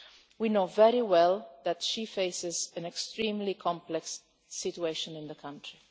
We know very well that she faces an extremely complex situation in the country.